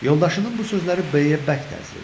Yoldaşının bu sözləri B-yə bərk təsir eləyir.